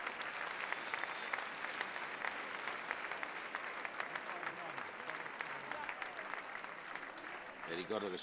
Le ricordo che sono uno dei firmatari della proposta della Commissione europea per dare più posti alle donne nei consigli di amministrazione.